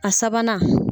A sabanan